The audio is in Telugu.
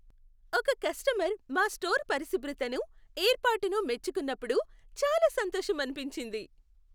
ఒక కస్టమర్ మా స్టోర్ పరిశుభ్రతను, ఏర్పాటును మెచ్చుకున్నప్పుడు చాలా సంతోషమనిపించింది.